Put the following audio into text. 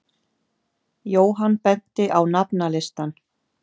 Jóhann benti á nafnalistann.